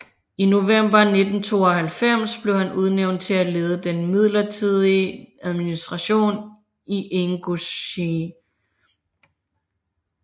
I november 1992 blev han udnævnt til at lede den midlertidige administration i Ingusjien